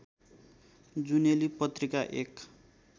जुनेली पत्रिका एक